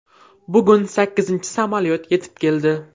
Bugun sakkizinchi samolyot yetib keldi.